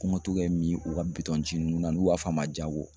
Kuma togoya ye min ye o ka bitɔn ji nunnu n'a nu b'a f'a ma Jago.